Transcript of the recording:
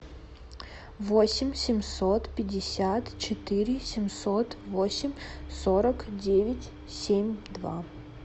восемь семьсот пятьдесят четыре семьсот восемь сорок девять семь два